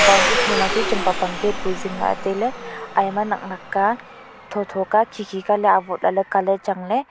boundary thoma chu chem pang pang gate bu jingla tailey ayama naknak ka thotho ka khikhi ka ley avot lah ley colour changley.